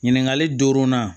Ɲininkali duurunan